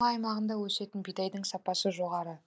ақмола аймағында өсетін бидайдың сапасы жоғары